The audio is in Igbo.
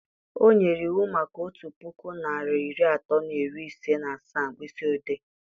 O nyere iwu maka otu puku narị iri atọ na iri ise na asaa mkpịsị ode